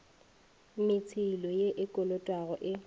metšhelo ye e kolotwago e